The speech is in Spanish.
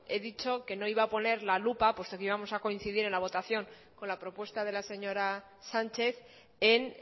he dicho que no iba a poner la lupa puesto que íbamos a coincidir en la votación con la propuesta de la señora sánchez en